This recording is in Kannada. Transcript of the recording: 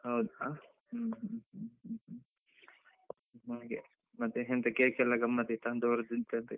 ಹೌದಾ, ಹ್ಮ್ ಹ್ಮ್ ಹ್ಮ್ ಹ್ಮ್ ಹಾಗೆ, ಮತ್ತೆ ಎಂತ cake ಎಲ್ಲ ಗಮ್ಮತ್ ಇತ್ತ ಒಂದೂವರೆ KG ದಂತೆ.